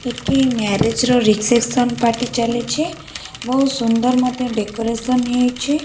ଏଠି ମ୍ୟରେଜ୍ ର reception party ଚାଲିଛି ବୋହୁତ ସୁନ୍ଦର୍ ମଧ୍ୟ ଡେକରେସନ ହେଇଛି।